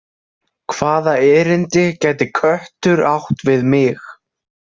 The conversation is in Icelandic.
Hvaða erindi gæti köttur átt við mig?